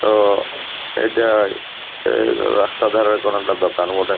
তো এটা রাস্তা ধারে কোনো একটা দোকান বটেই।